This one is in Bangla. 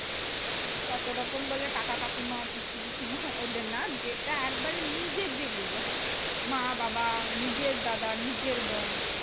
ততো রকম বলে কাকা কাকিমা, পিসি পিসিমা ওদের না, যেটা একবারে নিজের যেগুলো হয় মা বাবা নিজের দাদা নিজের বোন,